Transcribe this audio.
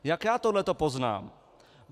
Jak já tohleto poznám?